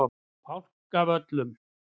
Fálkavöllum